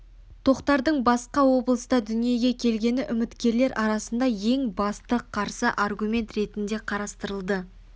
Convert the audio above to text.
тоқтардың басқа облыста дүниеге келгені үміткерлер арасында ең басты қарсы аргумент ретінде қарастырылды